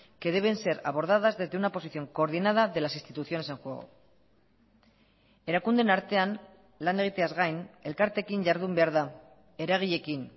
que deben ser abordadas desde una posición coordinada de las instituciones en juego erakundeen artean lan egiteaz gain elkarteekin jardun behar da eragileekin